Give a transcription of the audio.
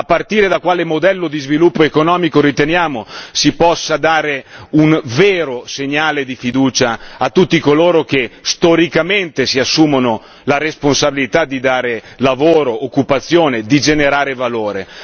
A partire da quale modello di sviluppo economico riteniamo si possa dare un vero segnale di fiducia a tutti coloro che storicamente si assumono la responsabilità di dare lavoro, occupazione, di generare valore.